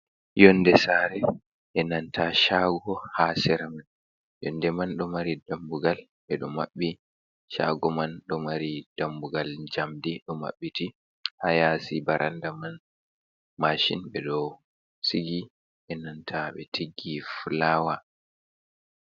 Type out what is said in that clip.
Yonde saare enanta shago ha sera man, yonde man do mari dambugal ɓe ɗoo maɓɓi shago man, ɗo mari dambugal jamdi, ɗo maɓɓiti, ha yaasi baranda man maashin ɓeɗo sigi enanta ɓe tiggi fulawa.